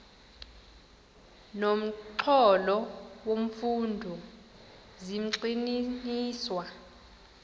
nomxholo wemfundo zigxininiswa